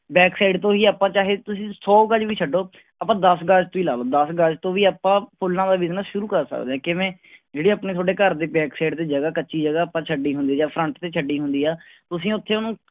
Back side ਤੋਂ ਹੀ ਆਪਾਂ ਚਾਹੇ ਤੁਸੀਂ ਸੌ ਗਜ ਵੀ ਛੱਡੋ, ਆਪਾਂ ਦਸ ਗਜ ਤੋਂ ਹੀ ਲਾ ਲਓ ਦਸ ਗਜ ਤੋਂ ਵੀ ਆਪਾਂ ਫੁੱਲਾਂ ਦਾ business ਸ਼ੁਰੂ ਕਰ ਸਕਦੇ ਹਾਂ, ਕਿਵੇਂ ਜਿਹੜੀ ਆਪਣੇ ਤੁਹਾਡੇ ਘਰਦੇ back side ਦੇ ਜਗ੍ਹਾ ਕੱਚੀ ਜਗ੍ਹਾ ਆਪਾਂ ਛੱਡੀ ਹੁੰਦੀ ਜਾਂ front ਤੇ ਛੱਡੀ ਹੁੰਦੀ ਆ ਤੁਸੀਂ ਉੱਥੇ ਉਹਨੂੰ